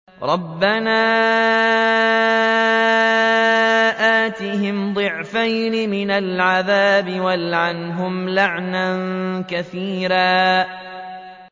رَبَّنَا آتِهِمْ ضِعْفَيْنِ مِنَ الْعَذَابِ وَالْعَنْهُمْ لَعْنًا كَبِيرًا